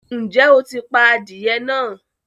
Ǹjẹ́ o ti pa adìyẹ náà?